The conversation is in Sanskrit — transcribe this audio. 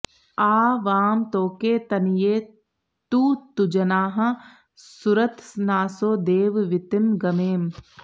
आ वां॑ तो॒के तन॑ये॒ तूतु॑जानाः सु॒रत्ना॑सो दे॒ववी॑तिं गमेम